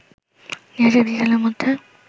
২০২০ সালের মধ্যে